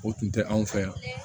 O tun tɛ anw fɛ yan